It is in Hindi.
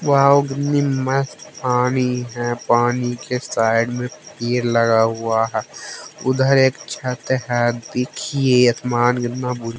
बाव कितनी मस्त पानी है पानी के साइड में पेड़ लगा हुआ है उधर एक छत है देखिए असमान कितना बु--